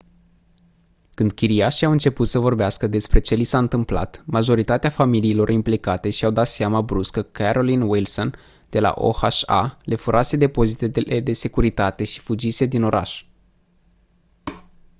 când chiriașii au început să vorbească despre ce li s-a întâmplat majoritatea familiilor implicate și-au dat seama brusc că carolyn wilson de la oha le furase depozitele de securitate și fugise din oraș